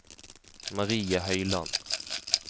Marie Høyland